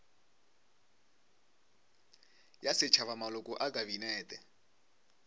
ya setšhaba maloko a kabinete